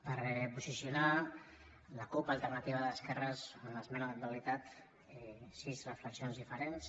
per posicionar la cup alternativa d’esquerres en l’esmena la totalitat sis reflexions diferents